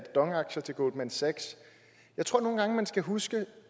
dong aktier til goldman sachs jeg tror nogle gange man skal huske